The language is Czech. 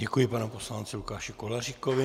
Děkuji panu poslanci Lukáši Koláříkovi.